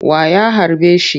Wa ya harbe shi?